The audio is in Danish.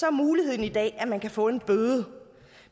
er muligheden i dag at man kan få en bøde